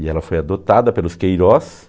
E ela foi adotada pelos Queiroz.